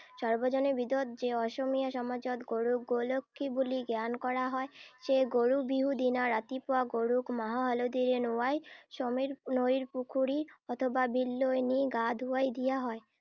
সৰ্বজনে বিদত যে, অসমীয়া সমাজত গৰুক গো লক্ষী বুলি জ্ঞান কৰা হয়। সেয়ে গৰু বিহু দিনা ৰাতিপুৱা গৰুক মাহ হালধীৰে নোঁৱাই সমীৰ নৈ পুখুৰী অথবা বিললৈ নি গা ধুৱাই দিয়া হয়।